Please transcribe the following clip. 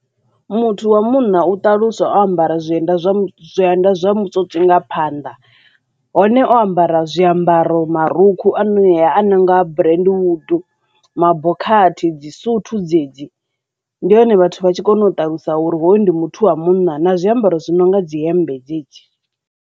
Muthu wa munna u ṱaluswa o ambara zwienda zwa mutswotswi nga phanḓa hone o ambara zwiambaro marukhu anea a nonga burendewudu, mabokhathi dzi suthu dzedzi ndi hone vhathu vha tshi kona u ṱalusa uri hoyu ndi muthu wa munna na zwiambaro zwi no nga dzi hemmbe dzedzi.